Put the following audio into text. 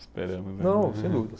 Esperamos mesmo. Não, sem dúvidas